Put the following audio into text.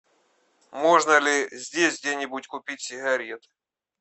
можно ли здесь где нибудь купить сигарет